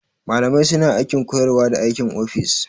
Malamai suna aikin koyarwa da aikin ofis.